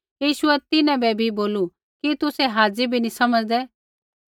यीशुऐ तिन्हां बै भी बोलू कि तुसै हाज़ी भी नी समझ़दै